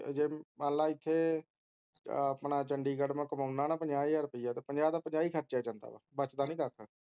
ਤੇ ਜੇ ਮੰਨ ਲੈ ਜੇ ਇਥੇ ਆਪਣਾ ਚੰਡੀਗੜ੍ਹ ਮੈਂ ਕਮਾਉਣਾ ਹਾਂ ਪੰਜਾਹ ਹਜ਼ਾਰ ਰੁਪਇਆ ਤਾਂ ਪੰਜਾਹ ਦਾ ਪੰਜਾਹ ਹੀ ਖਰਚਿਆ ਜਾਂਦਾ ਹੈ ਬੱਚਦਾ ਨੀ ਕੱਖ